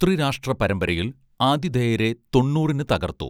ത്രിരാഷ്ട്ര പരമ്പരയിൽ ആതിഥേയരെ തൊണ്ണൂറിന് തകർത്തു